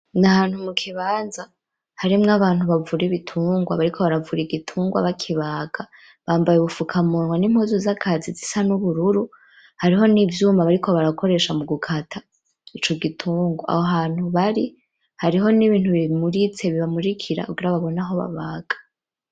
Ni ahantu mukibanza harimwo abantu bavura ibitungwa bariko baravura igitungwa bakibaga, bambaye ubufukamunwa n'impuzu z'akazi zisa n'ubururu, hariho n'ivyuma bariko barakoresha mugukata ico gitungwa, aho hantu bari hariho n'ibintu bimuritse, bibamurikira kugira babone aho babaga.